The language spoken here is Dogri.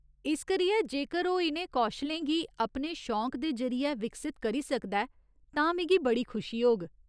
इस करियै जेकर ओह् इ'नें कौशलें गी अपने शौंक दे जरि'ये विकसत करी सकदा ऐ, तां मिगी बड़ी खुशी होग।